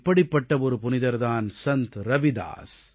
இப்படிப்பட்ட ஒரு புனிதர் தான் சந்த் ரவிதாஸ்